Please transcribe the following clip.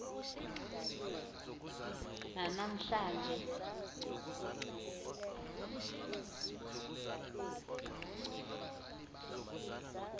nana mhla nje